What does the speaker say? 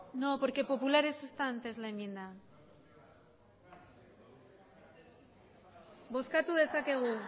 no porque populares está antes la enmienda bozkatu dezakegu